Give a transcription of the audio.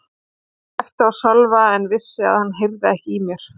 Ég æpti á Sölva en vissi að hann heyrði ekki í mér.